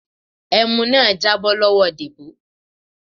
ẹmu náà jábọ́ lọ́wọ Debo.